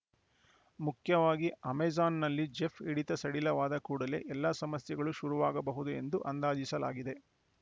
ಮುಖ್ಯವಾಗಿ ಅಮೆಜಾನ್‌ನಲ್ಲಿ ಜೆಫ್‌ ಹಿಡಿತ ಸಡಿಲವಾದ ಕೂಡಲೇ ಎಲ್ಲ ಸಮಸ್ಯೆಗಳೂ ಶುರುವಾಗಬಹುದು ಎಂದು ಅಂದಾಜಿಸಲಾಗಿದೆ